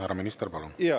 Härra minister, palun!